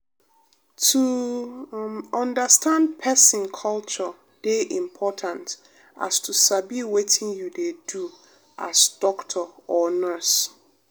to um understand pesin culture dey important as to sabi wetin you dey do as doctor or nurse.